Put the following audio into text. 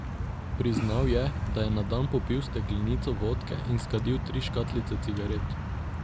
Priznal je, da je na dan popil steklenico vodke in skadil tri škatlice cigaret.